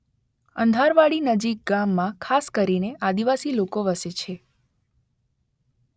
અંધારવાડી નજીક ગામમાં ખાસ કરીને આદિવાસી લોકો વસે છે.